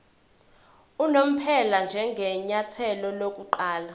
unomphela njengenyathelo lokuqala